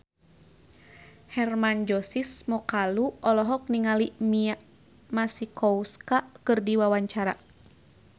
Hermann Josis Mokalu olohok ningali Mia Masikowska keur diwawancara